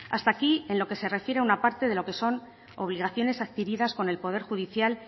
hasta aquí en lo que se refiere una parte de lo que son obligaciones adquiridas con el poder judicial